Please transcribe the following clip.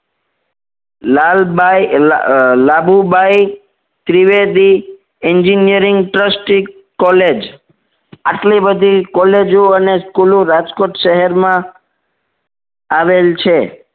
Lalbai Labubai Trivedi engineering trustee college આટલી બધી college ઓ અને school ઓ રાજકોટ શહેરમાં આવેલ છે